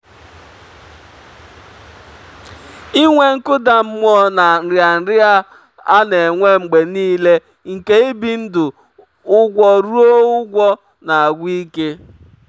inwe nkụda mmụọ na nrịanrịa a na-enwe mgbe nile nke ibi ndụ ụgwọruo ụgwọ na-agwụ ike.